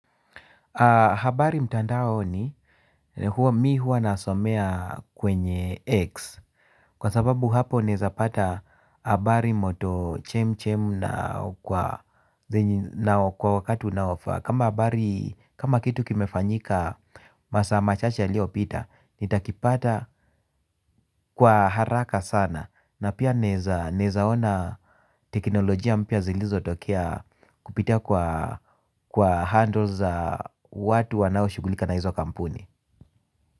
Habari mtandaoni mimi huwa nasomea kwenye X. Kwa sababu hapo naeza pata habari moto chemchem na kwa wakati unaofaa. Kama habari kama kitu kimefanyika masaa machache yaliopita nitakipata kwa haraka sana. Na pia naeza ona teknolojia mpya zilizotokea kupitia kwa handles watu wanaoshughulika na hizo kampuni.